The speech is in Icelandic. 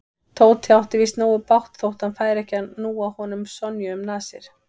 Tóti átti víst nógu bágt þótt hann færi ekki að núa honum Sonju um nasir.